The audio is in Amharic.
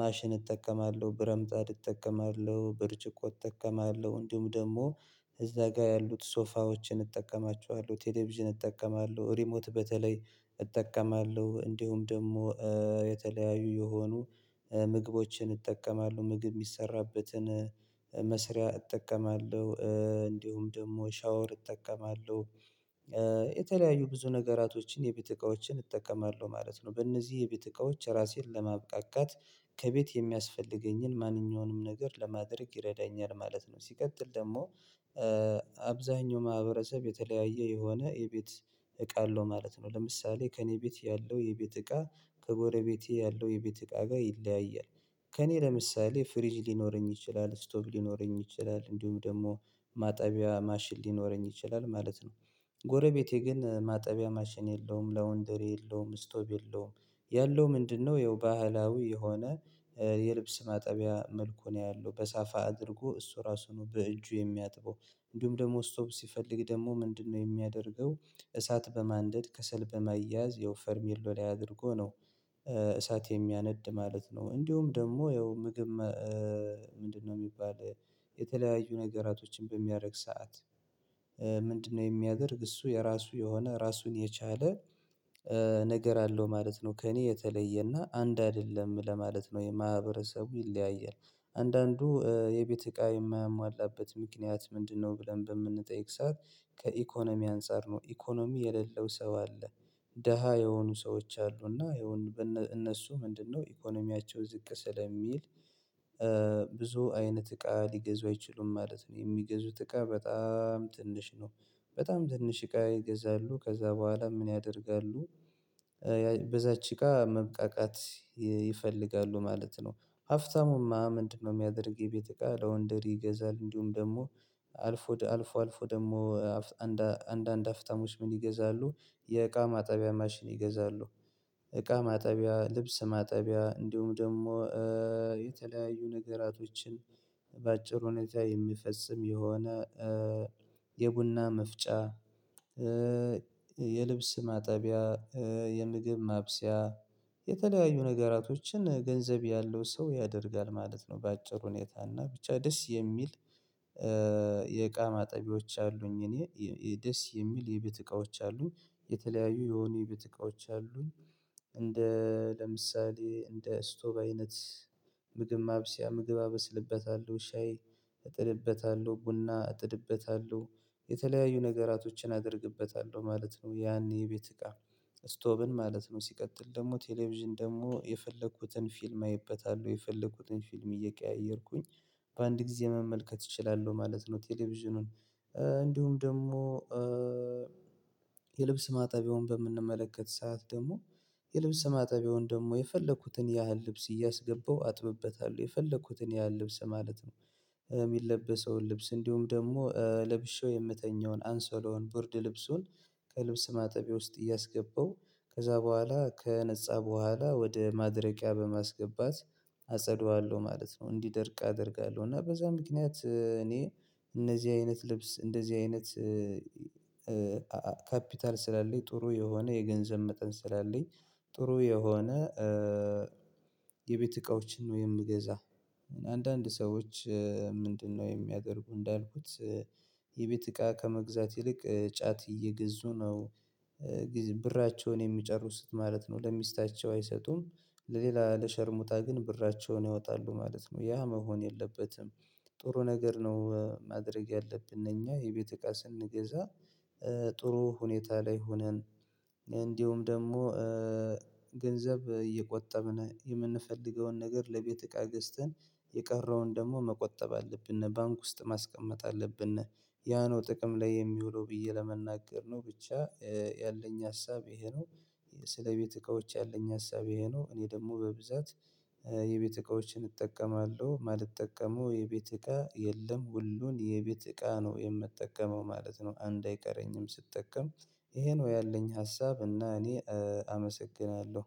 ማሽን እጠቀማለሁ ብረምጣድ እጠቀማለሁ ብርጭቆ እጠቀማለሁ እንዲሁም ደግሞ እዛ ጋር ያሉት ሶፋዎችን እጠቀማቸዋለሁ ቴሌቪዥን እጠቀማለሁ ሪሞት በተለይ እጠቀማለሁ እንዲሁም ደግሞ የተለያዩ የሆኑ ምግቦችን እጠቀማለሁ ምግብ የሚሰራበትን መስሪያ እጠቀማለሁ። እንዲሁም ደግሞ ሻወር እጠቀማለሁ። የተለያዩ ብዙ ነገራቶችን የቤት እቃዎችን እጠቀማለሁ ማለት ነው። በእነዚህ የቤት እቃዎች ራሴን ለማብቃቃት ከቤት የሚያስፈልገኝን ማንኛውንም ነገር ለማድረግ ይረዳኛል ማለት ነው። ሲቀጥል ደግሞ አብዛኛው ማህበረሰብ የተለያየ የሆነ የቤት እቃ አለው ማለት ነው። ለምሳሌ ከእኔ ቤት ያለው የቤት እቃ ከጎረቤቴ ያለው የቤት እቃ ጋር ይለያያል። ከእኔ ለምሳሌ ፍሪጅ ሊኖረኝ ይችላል ስቶብ ሊኖረኝ ይችላል እንዲሁም ደግሞ ማጠቢያ ማሽን ሊኖረኝ ይችላል ማለት ነው። ጎረቤቴ ግን ማጠቢያ ማሽን የለውም ላውንድሪ የለውም ስቶብ የለውም። ያለው ምንድነው? ይኸው ባህላዊ የሆነ የልብስ ማጠቢያ መልኩ ነው ያለው በሳፋ አድርጎ እሱ ራሱ ነው በእጁ የሚያጥበው። እንዲሁም ደግሞ ስቶፕ ሲፈልግ ደግሞ ምንድነው የሚያደርገው? እሳት በማንደድ ከሰል በማያዝ ያው ፈርሚሎ ላይ አድርጎ ነው። እሳት የሚያነድ ማለት ነው። እንዲሁም ደግሞ ያው ምግብ። ምንድነው የሚባል የተለያዩ ነገራቶችን በሚያደርግ ሰዓት። ምንድነው? የሚያደርግ እሱ የራሱ የሆነ ራሱን የቻለ ነገር አለው ማለት ነው። ከእኔ የተለየና አንድ አይደለም ለማለት ነው የማህበረሰቡ ይለያያል። አንዳንዱ የቤት እቃ የማማላበት ምክንያት ምንድነው? ብለን በምንጠይቅ ሰዓት ከኢኮኖሚ አንፃር ነው ኢኮኖሚ የሌለው ሰው አለ። ደሃ የሆኑ ሰዎች አሉ እና ይሄውን እነሱ ምንድነው ኢኮኖሚያቸው ዝቅ ስለሚል። ብዙ አይነት እቃ ሊገዙ አይችሉም ማለት ነው የሚገዙት እቃ በጣም ትንሽ ነው። በጣም ትንሽ እቃ ይገዛሉ ከዛ በኋላ ምን ያደርጋሉ? በዛች እቃ መብቃቃት ይፈልጋሉ ማለት ነው። ሀፍታሙማ ምንድነው? የሚያደርግ የቤት እቃ ላውንደሪ ይገዛል እንዲሁም ደግሞ አልፎ አልፎ አልፎ ደግሞ አንድ አንዳንድ ሀፍታሞች ምን ይገዛሉ የእቃ ማጠቢያ ማሽን ይገዛሉ። እቃ ማጠቢያ ልብስ ማጠቢያ እንዲሁም ደግሞ የተለያዩ ነገራቶችን በአጭር ሁኔታ የሚፈጽም የሆነ የቡና መፍጫ። የልብስ ማጠቢያ የምግብ ማብሰያ የተለያዩ ነገራቶችን ገንዘብ ያለው ሰው ያደርጋል ማለት ነው። በአጭር ሁኔታ እና ብቻ ደስ የሚል። የእቃ ማጠቢዎች አሉኝ እኔ ደስ የሚል የቤት እቃዎች አሉኝ የተለያዩ የሆኑ የቤት እቃዎች አሉኝ። እንደ ለምሳሌ እንደ ስቶብ አይነት ምግብ ማብሰያ ምግብ አበስልበታለሁ ሻይ እጥድበታለሁ ቡና እጥድበታለሁ። የተለያዩ ነገራቶችን አደርግበታለሁ ማለት ነው ያኔ የቤት እቃ ስቶብን ማለት ነው። ሲቀጥል ደግሞ ቴሌቪዥን ደግሞ የፈለኩትን ፊልም አይበታለሁ የፈለኩትን ፊልም እየቀያየርኩኝ በአንድ ጊዜ መመልከት እችላለሁ ማለት ነው። ቴሌቪዥኑን እንዲሁም ደግሞ። የልብስ ማጣቢያውን በምንመለከት ሰዓት ደግሞ የልብስ ማጣቢያውን ደግሞ የፈለኩትን ያህል ልብስ እያስገባው አጥብበታል የፈለኩትን ያህል ልብስ ማለት ነው። የሚለበሰውን ልብስ እንዲሁም ደግሞ ለብሼው የምተኛውን አንሶላውን ቡርድ ልብሱን ከልብስ ማጠቢያ ውስጥ እያስገባው ከዛ በኋላ ከነፃ በኋላ ወደ ማድረቂያ በማስገባት አጸደዋለሁ ማለት ነው። እንዲደርቅ አደርጋለሁ። እና በዛ ምክንያት እኔ እነዚህ አይነት ልብስ እንደዚህ አይነት። ካፒታል ስላለኝ ጥሩ የሆነ የገንዘብ መጠን ስላለኝ። ጥሩ የሆነ የቤት እቃዎችን ነው የምገዛ። አንዳንድ ሰዎች ምንድነው የሚያደርጉ እንዳልኩት የቤት እቃ ከመግዛት ይልቅ ጫት እየገዙ ነው። ብራቸውን የሚጨርሱት ማለት ነው። ለሚስታቸው አይሰጡም። ለሌላ ለሸርሙጣ ግን ብራቸውን ያወጣሉ ማለት ነው። ያ መሆን የለበትም። ጥሩ ነገር ነው። ማድረግ ያለብን እኛ የቤት እቃ ስንገዛ ጥሩ ሁኔታ ላይ ሆነን እንዲሁም ደግሞ ገንዘብ እየቆጠብን የምንፈልገውን ነገር ለቤት እቃ ገዝተን የቀረውን ደግሞ መቆጠብ አለብን ባንክ ውስጥ ማስቀመጥ አለብን። ያ ነው ጥቅም ላይ የሚውለው ብዬ ለመናገር ነው። ብቻ ያለኝ ሀሳብ ይሄ ነው። ስለ ቤት እቃዎች ያለኝ ሀሳብ ይሄ ነው። እኔ ደግሞ በብዛት የቤት እቃዎችን እጠቀማለሁ ማለት ማልጠቀመው የቤት እቃ የለም ሁሉን የቤት እቃ ነው የምጠቀመው ማለት ነው። አንድ አይቀረኝም ስጠቀም ይሄን ወይ ያለኝ ሀሳብ እና እኔ አመሰግናለሁ።